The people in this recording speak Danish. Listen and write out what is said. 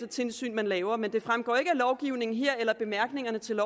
tilsyn man laver men det fremgår ikke af lovgivningen her eller bemærkningerne til